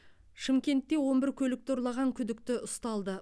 шымкентте он бір көлікті ұрлаған күдікті ұсталды